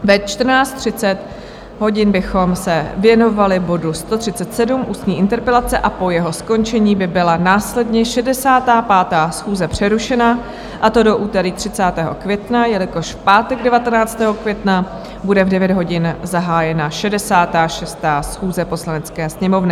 Ve 14.30 hodin bychom se věnovali bodu 137, ústní interpelace, a po jeho skončení by byla následně 65. schůze přerušena, a to do úterý 30. května, jelikož v pátek 19. května bude v 9 hodin zahájena 66. schůze Poslanecké sněmovny.